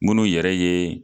Munnu yɛrɛ ye